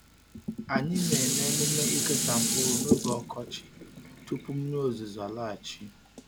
Anyị na-eme emume ikesa mkpụrụ n’oge ọkọchị tupu mmiri ozuzo alaghachi.